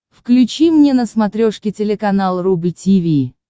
включи мне на смотрешке телеканал рубль ти ви